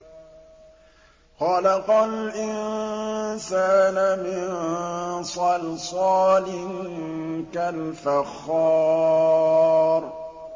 خَلَقَ الْإِنسَانَ مِن صَلْصَالٍ كَالْفَخَّارِ